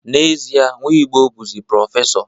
N'ezie, Nwigbo bụzi prọfesọ